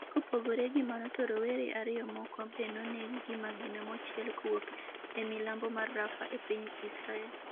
kopore gi mano to rowere ariyo moko be nonegi gi magina manochiel kowuok e milambo mar Rafa e piny Israel